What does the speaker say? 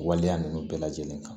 Waleya ninnu bɛɛ lajɛlen kan